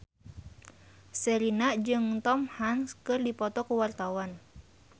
Sherina jeung Tom Hanks keur dipoto ku wartawan